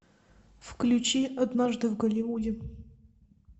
включи однажды в голливуде